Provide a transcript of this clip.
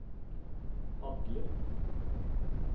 padler